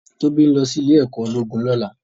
Tobi n lò si Ilè èkò ólógún lòlá